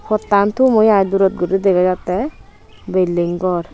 pottan tum oi ai durot guri dega jatte bilding gor.